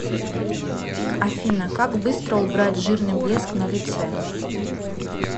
афина как быстро убрать жирный блеск на лице